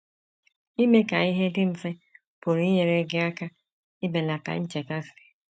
Ime ka ihe dị mfe pụrụ inyere gị aka ibelata nchekasị.